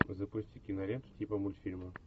запусти киноленту типа мультфильма